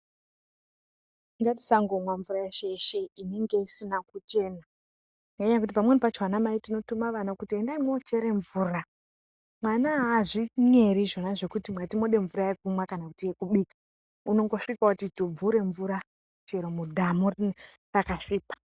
Ngati sango mwa mvura yeshe yeshe inenge isina kuchena ngenyaya yekuti pamweni pacho ana mai tino tuma ana kuti endai muno chera mvura mwana aazvi nyeri izvona zvekuti munoda mvura yekunwa kana yeku bika unongo svika woti tubvure mvura chero mudhamu raka svipa.